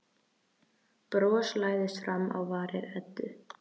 Bros læðist fram á varir Eddu.